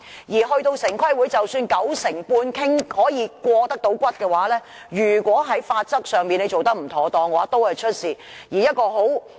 而到了城規會，即使九成半可以過關，如果在法則上做得不妥當，都會出問題。